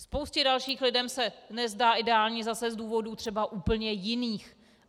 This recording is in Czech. Spoustě dalších lidem se nezdá ideální zase z důvodů třeba úplně jiných.